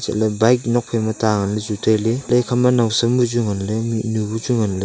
chatley bike nokphaima ta nganla chu tailey haitoley ekhama nawsem buchu nganley mihnu buchu nganley.